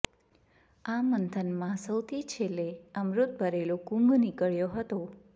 આ મંથનમાં સૌથી છેલ્લે અમૃત ભરેલો કુંભ નીકળ્યો હતો